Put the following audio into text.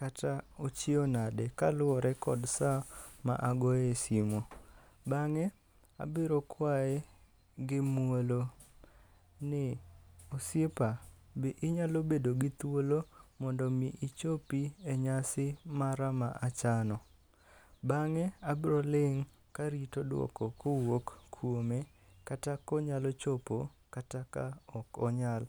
kata ochiew nade kaluwore kod saa magoye simu. Bang'e abiro kwaye gi muolo ni, osiepa, bende inyalo bedo gi thuolo mo ndo mi ichopi e nyasim mara ma achano. Bang'e abiro löing' karito duoko mowuok kuome kata ka onyalo chopo kata ka ok onyal.